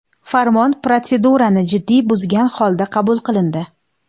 Farmon protsedurani jiddiy buzgan holda qabul qilindi.